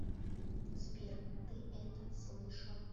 сбер ты это слышал